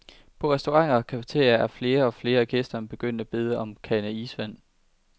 På restauranter og cafeterier er flere og flere af gæsterne begyndt at bede som en kande isvand.